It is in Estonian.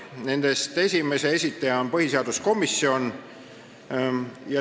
Nendest esimese esitaja on põhiseaduskomisjon.